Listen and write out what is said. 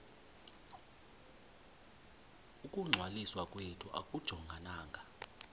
ukungcwaliswa kwethu akujongananga